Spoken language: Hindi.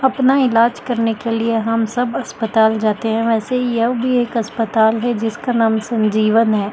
अपना इलाज करने के लिए हम सब अस्पताल जाते हैं वैसे ही यह भी एक अस्पताल है जिसका नाम संजीवन है ।